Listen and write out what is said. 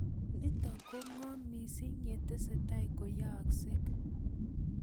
Nitok ko ng'om mising' ye tesetai koyaakse